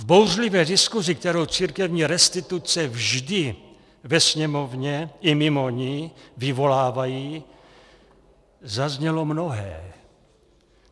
V bouřlivé diskusi, kterou církevní restituce vždy ve Sněmovně i mimo ni vyvolávají, zaznělo mnohé.